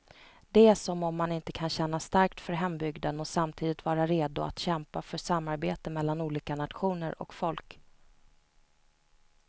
Det är som om man inte kan känna starkt för hembygden och samtidigt vara redo att kämpa för samarbete mellan olika nationer och folk.